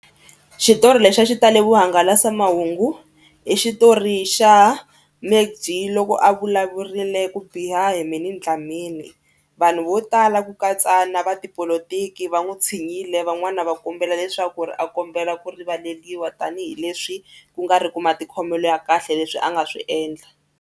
Xitori lexi a xi tale vuhangalasamahungu i xitori xa MacG loko a vulavurile ku biha hi Minnie Dlamini. Vanhu vo tala ku katsa na va tipolotiki va n'wi tshinyile van'wani va kombela leswaku ri a kombela ku rivaleriwa tanihileswi ku nga ri ku matikhomelo ya kahle leswi a nga swi endla.